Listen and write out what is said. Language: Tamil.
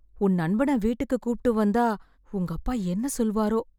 உன் நண்பன வீட்டுக்கு கூப்ட்டு வந்தா, உங்கப்பா என்ன சொல்வாரோ?